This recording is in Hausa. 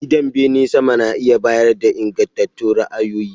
Gidan bene sama na iya bayar da ingantattun ra'ayoyi.